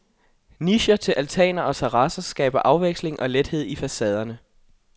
Nicher til altaner og terrasser skaber afveksling og lethed i facaderne.